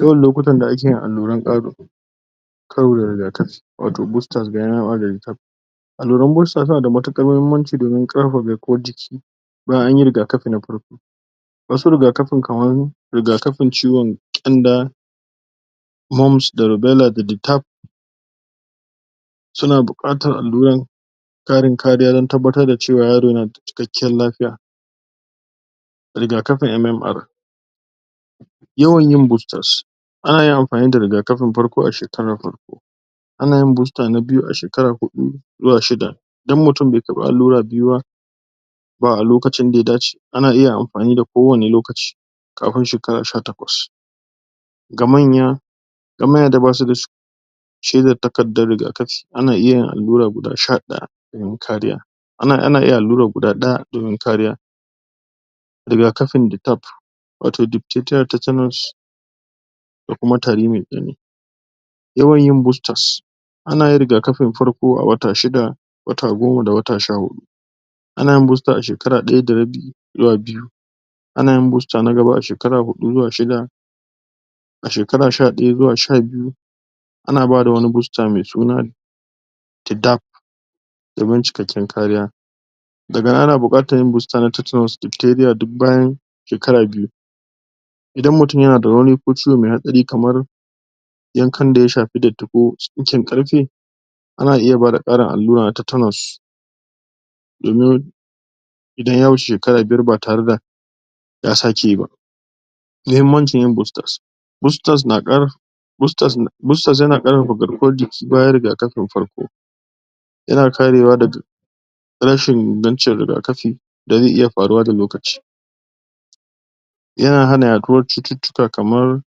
yawan lokutan da ake yin alluran?? karo da riga-kafi, wato bustat biyanal oritat alluran mostat, tana da matukar mahimmanci, domin kara garkuwan ciki bayan anyi riga-kafi na farko wasu riga-kafin kaman, riga-kafin ciwon kanda wombs, da rivelar da detaf??? suna bukatar alluran neman kariya dan tabbatar da cewa yaro yanada cikakkiyar lafia riga-kafin MMR yawan yin bustat ana iya anfani da riga-kafin farko a shekarar farko anayin buster na biyu a shekara hudu zuwa shida dan mutun bai karfi allura biyuba ba lokacin da ya dace ana iya anfani a kowanne lokaci kafin shekara sha takwas ga manya ga manya da basuda shirya takardar riga-kafi ana iya alllura, guda sha daya dan kariya ana iya allura kuda daya, domin kariya riga-kafin??? wato diktedinal tetanus ko kuma tari mai dimi yawan yin bustat anayin riga-kafin farko a wata shida wata goma da wata sha hudu ana yin busta a shekara daya da rabi zuwa biyu ana yin busta na gaba a shekara hudu zuwa shida a shekara sha daya zuwa sha biyu ana bada wani busta mai suna tidaf domin cikakken kariya daganan ana bukatan yin busta, na tattara?? duk bayan shekara biyu idan mutun yana da wani ko ciho mai hadari kaman yankan da ya shafi datti ko, tsinken karfe ana iya bada karin allura na tetanus domin idan ya shige shekara biyar, ba tare da ya sake ba muhimmancin yin busta bustas na kar bustas na, bustas na kara garkuwan jiki bayan riga-kafin farko yana karewa daga rashin ingancin riga-kafi dan zai iya faruwa da lokaci yana hana yaduwar shutittika, kaman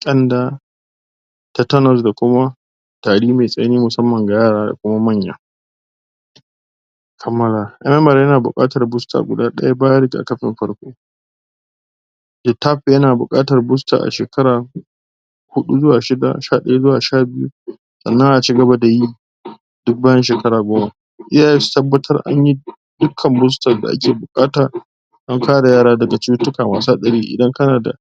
kanda tetenus da kuma tari mai tsanani, musamman ga yara, ko maiya har maza?? yana bukatan busta guda daya bayan ga na farko detaf yana bukata busta, a shekara hudu zuwa shida, sha daya, zuwa sha biyu san nan aci gaba da yi duk bayan sheka goma iyayen su tabbar anyi duk kan kuskure da ake bukata, an kare yara daga tsutittika masu hadari, idan kanada